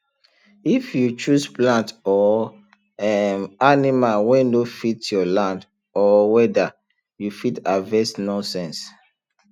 if you choose plant or um animal wey no fit your land or weather you fit harvest nonsense